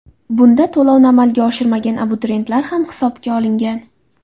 Bunda to‘lovni amalga oshirmagan abituriyentlar ham hisobga olingan.